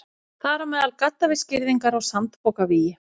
Þar á meðal gaddavírsgirðingar og sandpokavígi.